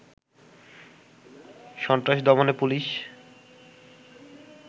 সন্ত্রাস দমনে পুলিশ